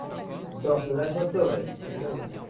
ଦଶ ହଜାର ଖର୍ଚ୍ଚ ହଉ ଭାଇ କିଛି tension ନାହିଁ।